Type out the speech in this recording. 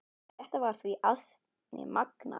Þetta var því ansi magnað.